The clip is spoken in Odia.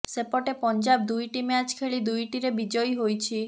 ସେପଟେ ପଞ୍ଜାବ ଦୁଇଟି ମ୍ୟାଚ୍ ଖେଳି ଦୁଇଟିରେ ବିଜୟୀ ହୋଇଛି